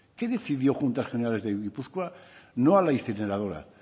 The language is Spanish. qué decidió juntas generales de gipuzkoa no a la incineradora